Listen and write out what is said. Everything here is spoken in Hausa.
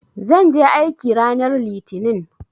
Zan je aiki ranar Litinin.